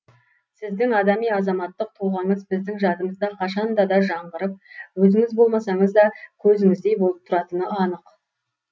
сіздің адами азаматтық тұлғаңыз біздің жадымызда қашанда да жаңғырып өзіңіз болмасаңыз да көзіңіздей болып тұратыны анық